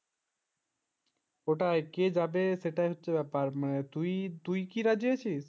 ওটাই কে যাবে সেটা হচ্ছে ব্যাপার তুই কি রাজি আছিস?